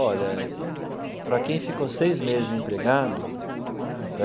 Olha, para quem ficou seis meses desempregado... Era uma maravilha.